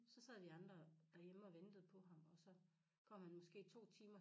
Så sad vi andre derhjemme og ventede på ham og så kom han måske 2 timer